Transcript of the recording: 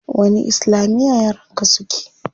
Wani islamiya yaran ka suke?